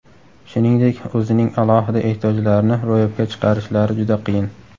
Shuningdek, o‘zining alohida ehtiyojlarini ro‘yobga chiqarishlari juda qiyin.